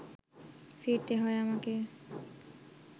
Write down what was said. ফিরতে হয় আমাকে